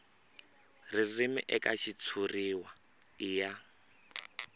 ririmi eka xitshuriwa i ya